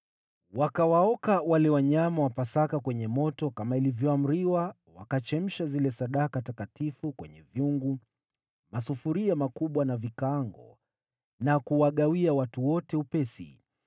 Wakawaoka wale wanyama wa Pasaka kwenye moto kama ilivyoamriwa, wakachemsha zile sadaka takatifu kwenye vyungu, masufuria makubwa na vikaango na kuwagawia watu wote upesi.